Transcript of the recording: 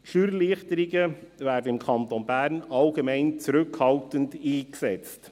Die Steuererleichterungen werden im Kanton Bern allgemein zurückhaltend eingesetzt.